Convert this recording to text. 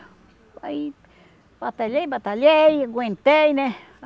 Aí batalhei, batalhei, aguentei, né?